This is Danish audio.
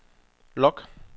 log